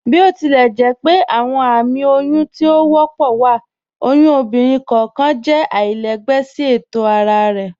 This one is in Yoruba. Botilẹjẹpẹ awọn ààmì oyún tí o wọ́pọ̀ wa, oyún ọ̀bìnrin kọọkan jẹ̀ àlàilẹ̀gbẹ̀ sí ètò ara rẹ.